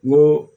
N ko